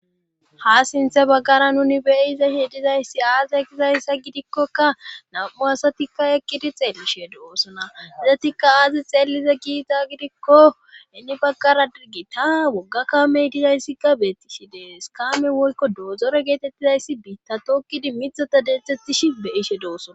Ha sinthe baggara nuni beyiza he dizayssi aaza ekizayssa gidikkokka nam'u asatikka ekkidi xeellishe doosona dizatikka aazi xeelliza kiita gidikko ini baggara dirgita wogga kamey dizayssikka beettishi dees kaamen wolko doozore geetettizayssi biitta tokkidi mithota deetzthettishi beyishe doossona.